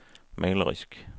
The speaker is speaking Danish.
malerisk